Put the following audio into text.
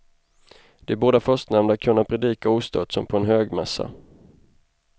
De båda förstnämnda kunna predika ostört som på en högmässa.